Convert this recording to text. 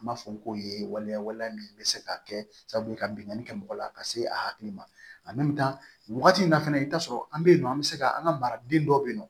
An b'a fɔ ko ye waleya waleya min bɛ se ka kɛ sabu ka bingani kɛ mɔgɔ la ka se a hakili ma nin wagati in na fɛnɛ i bi t'a sɔrɔ an be yen nɔ an be se ka an ka maraden dɔ bɛ yen nɔ